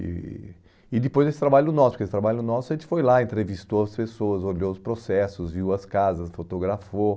E e depois desse trabalho nosso, porque esse trabalho nosso a gente foi lá, entrevistou as pessoas, olhou os processos, viu as casas, fotografou.